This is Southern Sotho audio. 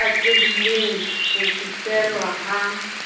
e atlehileng ho fihlellwa ha